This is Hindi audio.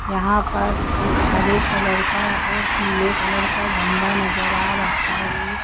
यहां पर एक हरे कलर का और पीले कलर का झंडा नजर आ रहा है।